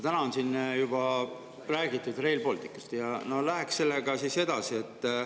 Täna on siin juba räägitud Rail Balticust, läheks sellega siis edasi.